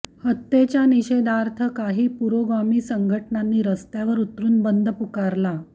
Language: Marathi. हत्येच्या निषेधार्थ काही पुरोगामी संघटनांनी रस्त्यावर उतरून बंद पुकारला